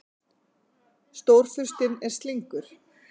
Stórfurstinn er slyngur.